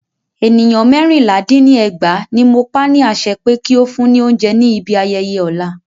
Ènìyàn mẹ́rìnlá dín ní ẹgbàá ní mo pa ni àṣẹ pé kí o fún ni óúnjẹ ní ibi ayẹyẹ ọ̀la.